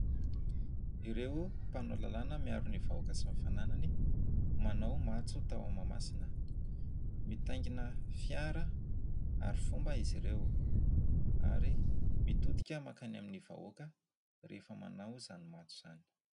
Ireo mpanao lalàna miaro ny vahoaka sy ny fananany, manao matso tao Mahamasina. Mitaingina fiara hary fomba izy ireo ary mitodika mankany amin'ny vahoaka rehefa manao izany matso izany.